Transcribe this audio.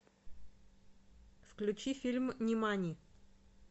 включи фильм нимани